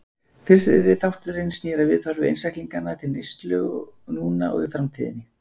Fyrri þátturinn snýr að viðhorfi einstaklinganna til neyslu núna og í framtíðinni.